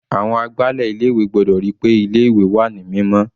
Àwọn agbálẹ̀ ilé ìwé gbọ́dọ̀ ríi pé ilé ìwé wà ní mímọ́.